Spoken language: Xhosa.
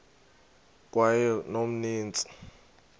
kweyomntsintsi